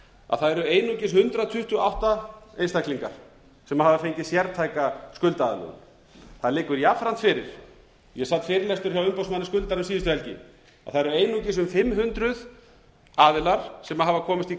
að það eru einungis hundrað tuttugu og átta einstaklingar sem hafa fengið sértæka skuldaaðlögun það liggur jafnframt fyrir ég sat fyrirlestur hjá umboðsmanni skuldara um síðustu helgi það eru einungis um fimm hundruð aðilar sem hafa komist í